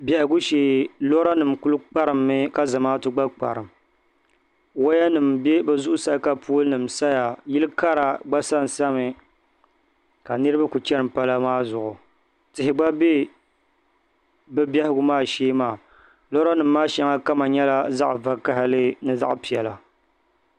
Biɛhigu shee lora nim kuli kparimmi ka zamaatu gna kparim waya nim bɛ bi zuɣu saa ka pol nim saya ka niraba kuli chani pala maa zuɣu tihi gba bɛ bi biɛhigu maa shee maa loori nim maa shɛŋa kama nyɛla zaɣ vakaɣili ni zaɣ piɛla